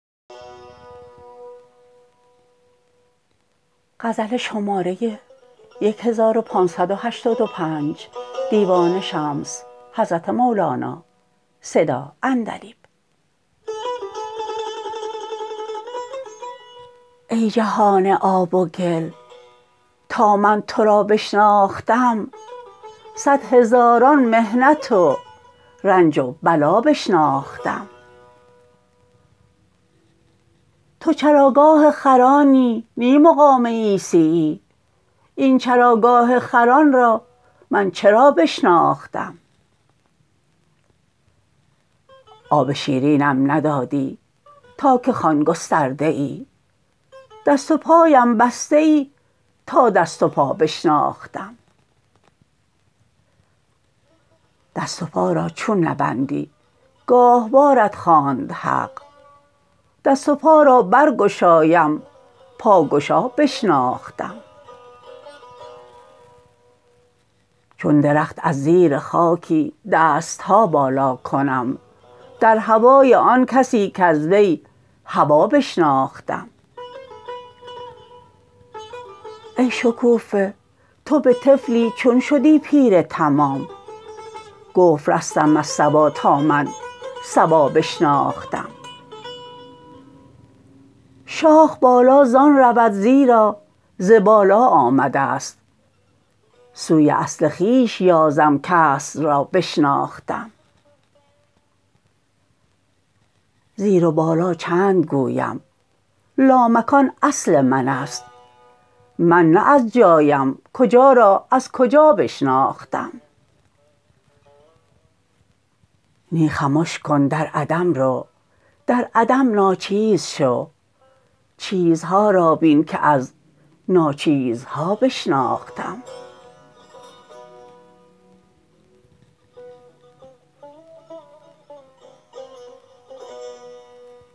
ای جهان آب و گل تا من تو را بشناختم صد هزاران محنت و رنج و بلا بشناختم تو چراگاه خرانی نی مقام عیسیی این چراگاه خران را من چرا بشناختم آب شیرینم ندادی تا که خوان گسترده ای دست و پایم بسته ای تا دست و پا بشناختم دست و پا را چون نبندی گاهواره ت خواند حق دست و پا را برگشایم پاگشا بشناختم چون درخت از زیر خاکی دست ها بالا کنم در هوای آن کسی کز وی هوا بشناختم ای شکوفه تو به طفلی چون شدی پیر تمام گفت رستم از صبا تا من صبا بشناختم شاخ بالا زان رود زیرا ز بالا آمده ست سوی اصل خویش یازم کاصل را بشناختم زیر و بالا چند گویم لامکان اصل من است من نه از جایم کجا را از کجا بشناختم نی خمش کن در عدم رو در عدم ناچیز شو چیزها را بین که از ناچیزها بشناختم